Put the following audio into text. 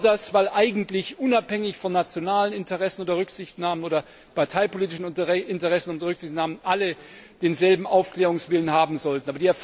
Ich bedauere das, weil eigentlich unabhängig von nationalen Interessen oder Rücksichtnahmen oder parteipolitischen Interessen oder Rücksichtnahmen alle denselben Aufklärungswillen haben sollten.